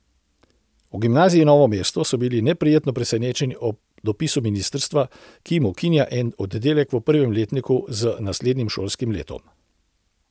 V Gimnaziji Novo mesto so bili neprijetno presenečeni ob dopisu ministrstva, ki jim ukinja en oddelek v prvem letniku z naslednjim šolskim letom.